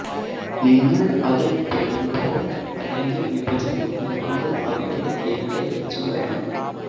നിങ്ങൾ അത് പെടുമ്പോൾ അല്ലെങ്കിൽ വിഭജനം വിളക്കുകൾ അവിടെ എവിടെ വെച്ചു വേണം